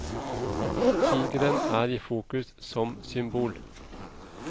Tigeren er i fokus som symbol.